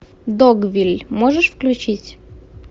догвилль можешь включить